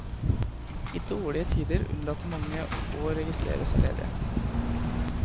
I dårlige tider unnlater mange å registrere seg ledige.